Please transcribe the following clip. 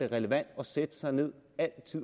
relevant at sætte sig ned